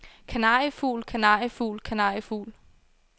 kanariefugl kanariefugl kanariefugl